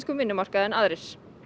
vinnumarkaði en aðrir